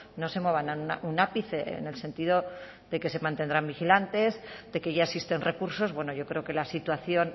no se muevan un ápice en el sentido de que se mantendrán vigilantes de que ya existen recursos bueno yo creo que la situación